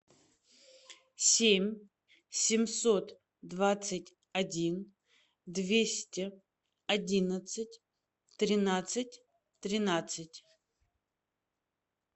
семь семьсот двадцать один двести одиннадцать тринадцать тринадцать